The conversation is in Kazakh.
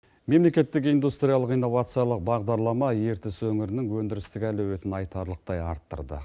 мемлекеттік индустриялық инновациялық бағдарлама ертіс өңірінің өндірістік әуелетін айтарлықтай арттырды